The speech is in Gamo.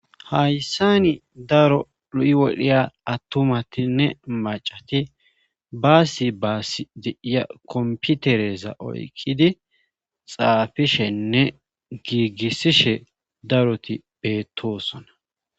Hayssani daro u'i wodhiya attumatinne macati baasi baasi deiya komputereza oykkidi xaafishenne giigisishe daroti beettosona.